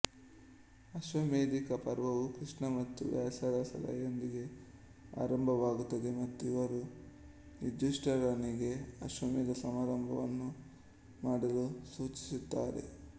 ಅಶ್ವಮೇಧಿಕ ಪರ್ವವು ಕೃಷ್ಣ ಮತ್ತು ವ್ಯಾಸರ ಸಲಹೆಯೊಂದಿಗೆ ಆರಂಭವಾಗುತ್ತದೆ ಮತ್ತು ಇವರು ಯುಧಿಷ್ಠಿರನಿಗೆ ಅಶ್ವಮೇಧ ಸಮಾರಂಭವನ್ನು ಮಾಡಲು ಸೂಚಿಸುತ್ತಾರೆ